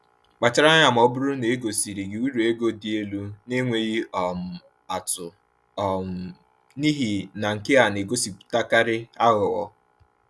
Kpachara anya ma ọ bụrụ na e gosiri gị uru ego dị elu na-enweghị um atụ, um n’ihi na nke a na-egosipụtakarị aghụghọ.